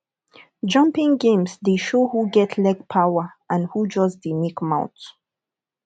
jumping games dey show who get leg power and who just dey make mouth